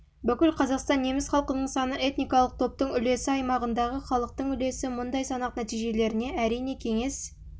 бүкіл қазақстан неміс халқының саны этникалық топтың үлесі аймағындағы халықтың үлесі мұндай санақ нәтижелеріне әрине кеңес